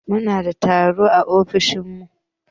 Munada tarho a ofishin mu